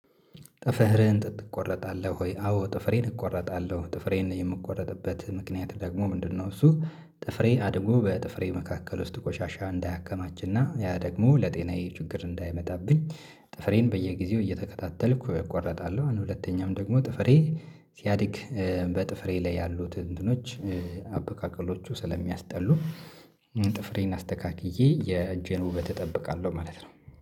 ጥፍርህን ጥጥ ትቆረጣለሁ ወይ? አዎ ጥፍሬን እቆረጣለሁ ጥፍሬን የምቆረጥበት ምክንያት ደግሞ ምንድነው? እሱ ጥፍሬ አድጎ በጥፍሬ መካከል ውስጥ ቆሻሻ እንዳያከማችና ያ ደግሞ ለጤናዬ ችግር እንዳይመጣብኝ። ጥፍሬን በየጊዜው እየተከታተልኩ እቆርጣለሁ ሁለተኛም ደግሞ ጥፍሬ ሲያድግ ኧ በጥፍሬ ላይ ያሉት እንትኖች አበቃቀሎቹ ስለሚያስጠሉ ጥፍሬን አስተካክዬ የጄን ውበት እጠብቃለሁ ማለት ነው